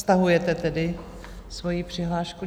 Stahujete tedy svoji přihlášku?